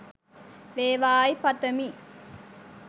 වේවායි පතමි.